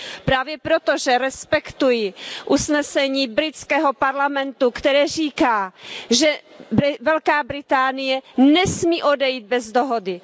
Právě proto, že respektuji usnesení britského parlamentu, které říká, že Velká Británie nesmí odejít bez dohody.